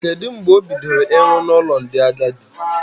Kedụ mgbe o bidoro ịrụ n'ụlọ ndị agadi?